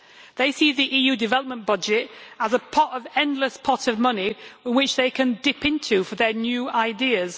They see the EU development budget as an endless pot of money which they can dip into for their new ideas.